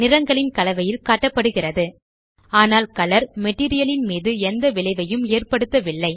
நிறங்களின் கலவையில் காட்டப்படுகிறது ஆனால் கலர் மெட்டீரியல் ன் மீது எந்த விளைவையும் ஏற்படுத்தவில்லை